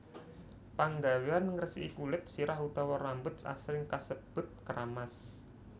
Panggawéan ngresiki kulit sirah utawa rambut asring kasebut kramas